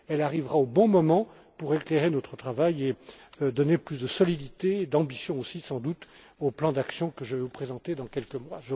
Elle arrivera au bon moment pour éclairer notre travail et donner plus de solidité, d'ambition aussi sans doute, au plan d'action que je vais vous présenter dans quelques mois.